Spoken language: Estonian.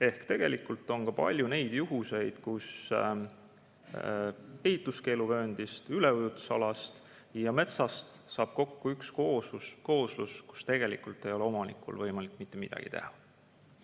Ehk tegelikult on ka palju neid juhtumeid, kus ehituskeeluvööndist, üleujutusalast ja metsast saab kokku üks kooslus, kus tegelikult ei ole omanikul võimalik mitte midagi teha.